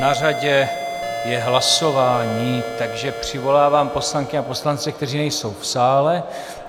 Na řadě je hlasování, takže přivolávám poslankyně a poslance, kteří nejsou v sále.